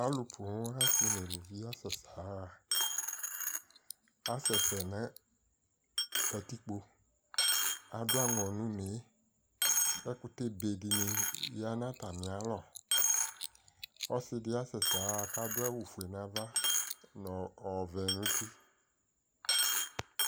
Alu pon de ne asɛsɛ yaha Asɛsɛ no katikpo Ado angɔ no unee Ɛkutebe de ne ya no atame alɔ Ɔse de be asɛasɛ ya ko ado awufue no ava no ɔvɛ no uti,